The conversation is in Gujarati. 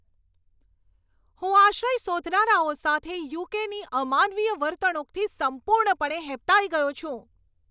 હું આશ્રય શોધનારાઓ સાથે યુ.કે.ની અમાનવીય વર્તણૂકથી સંપૂર્ણપણે હેબતાઈ ગયો છું.